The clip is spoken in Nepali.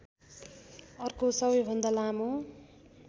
अर्को सबैभन्दा लामो